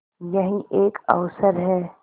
यही एक अवसर है